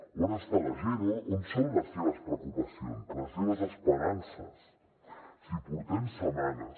on està la gent on són les seves preocupacions les seves esperances si portem setmanes